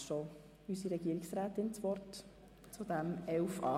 Deshalb erteile ich somit Regierungsrätin Egger das Wort.